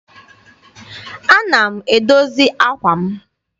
Ana m edozi àkwà m.